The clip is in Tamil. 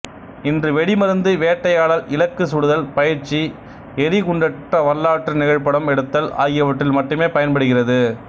இன்று வெடிமருந்து வேட்டையாடல் இலக்கு சுடுதல் பயிற்சி எரிகுண்டற்ற வரலாற்று நிகழ்ச்சிப்படம் எடுத்தல் ஆகியவற்றில் மட்டுமே பயன்படுகிறது